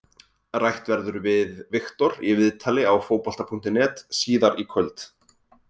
Rætt verður við Viktor í viðtali á Fótbolta.net síðar í kvöld.